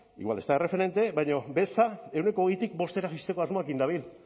igual ez da erreferente baina beza ehuneko hogeitik bostera jaisteko asmoarekin dabil